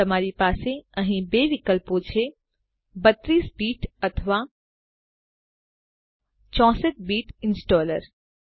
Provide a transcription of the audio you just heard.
તમારી પાસે અહીં બે વિકલ્પો છે 32 બીટ અથવા 64 બીટ ઈંસ્ટોલર